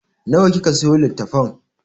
Nawa kika sayo litattafan?